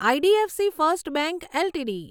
IDFC first of LTD